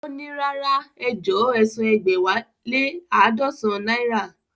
Ó ní, rárá ejọ̀ọ́ ẹsan ẹ̀gbẹ́wá lé laadọsan náírà